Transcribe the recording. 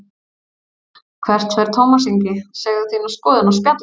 Hvert fer Tómas Ingi, segðu þína skoðun á Spjallinu